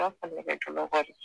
i b'a fɔ nɛgɛjɔlɔkɔ de